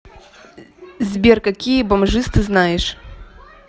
сбер какие бомжиз ты знаешь